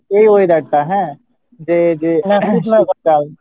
এই weather টা হ্যাঁ যে যে